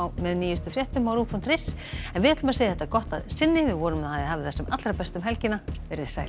með nýjustu fréttum á ruv punktur is en við segjum þetta gott að sinni vonum að þið hafið það sem allra best um helgina veriði sæl